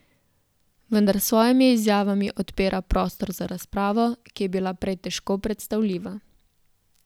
Vendar s svojimi izjavami odpira prostor za razpravo, ki je bila prej težko predstavljiva.